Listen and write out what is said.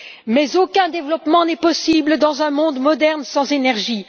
Mais aucun développement n'est possible dans un monde moderne sans énergie.